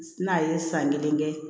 N'a ye san kelen kɛ